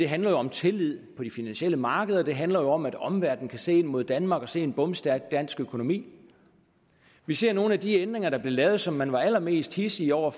handler om tillid på de finansielle markeder og det jo handler om at omverdenen kan se mod danmark og se en bomstærk dansk økonomi vi ser at nogle af de ændringer der blev lavet som man var allermest hidsig over